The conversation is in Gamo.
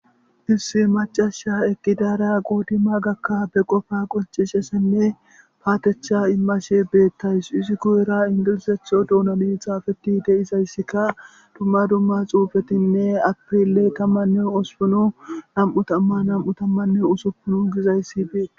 Issi mac'asiya eqidara qoodimaganne ba qopan qoncisizaysinne payatetha immadhe beetawus izi guyera ingilizathon doonsn xaafetidasika duma duma xuufetinne april 18,2026 gizaysi beetes.